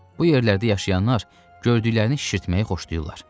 Bu yerlərdə yaşayanlar gördüklərini şişirtməyi xoşlayırlar.